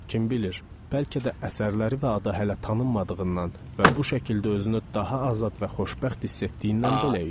Kim bilir, bəlkə də əsərləri və adı hələ tanınmadığından və bu şəkildə özünü daha azad və xoşbəxt hiss etdiyindən belə idi.